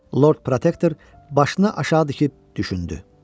Lord Protektor başına aşağı dikib düşündü.